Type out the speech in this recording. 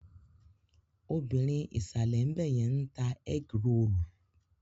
Obìrin ìsàlè ńbẹ̀yẹn ń ta ẹ́grolù.